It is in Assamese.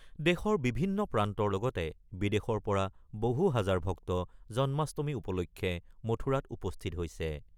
দেশৰ বিভিন্ন প্ৰান্তৰ লগতে বিদেশৰ পৰা বহু হাজাৰ ভক্ত জন্মাষ্টমী উপলক্ষে মথুৰাত উপস্থিত হৈছে।